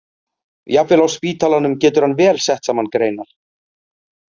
Jafnvel á spítalanum getur hann vel sett saman greinar.